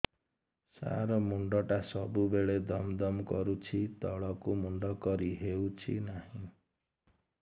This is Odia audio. ସାର ମୁଣ୍ଡ ଟା ସବୁ ବେଳେ ଦମ ଦମ କରୁଛି ତଳକୁ ମୁଣ୍ଡ କରି ହେଉଛି ନାହିଁ